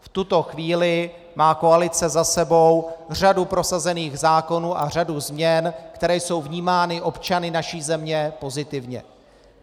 V tuto chvíli má koalice za sebou řadu prosazených zákonů a řadu změn, které jsou vnímány občany naší země pozitivně.